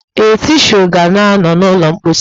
Ee, tishuu ka nọ n'ụlọ mposi